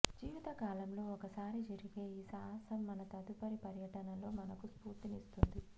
జీవితకాలంలో ఒకసారి జరిగే ఈ సాహసం మన తదుపరి పర్యటనలో మనకు స్ఫూర్తినిస్తుంది